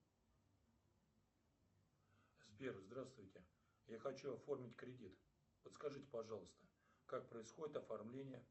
сбер здравствуйте я хочу оформить кредит подскажите пожалуйста как происходит оформление